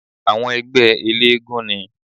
Àwọn ẹgbẹ́ eléégún ni